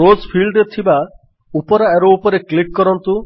rose ଫିଲ୍ଡରେ ଥିବା ଉପର ଆରୋ ଉପରେ କ୍ଲିକ୍ କରନ୍ତୁ